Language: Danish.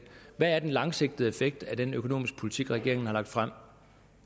hvad er den langsigtede effekt af den økonomiske politik regeringen har lagt frem